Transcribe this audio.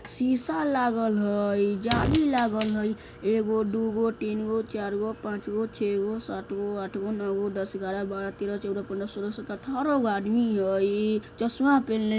शीशा लागल हई जाली लागल हय एगो दुगो तीनगो चारगो पाँचगो छेगो सातगो आठगो नौगो दस ग्यारा बारा तेरा चौदा पन्द्र सोला सतरा अठारा गो आदमी हई चश्मा पेहन्ले --